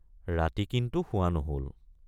ৰাতি কিন্তু শোৱা নহল।